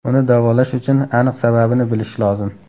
Uni davolash uchun aniq sababini bilish lozim.